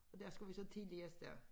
Og der skal vi så tidligt afsted